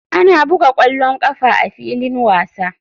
Ana buga ƙwallon ƙafa a filin wasa.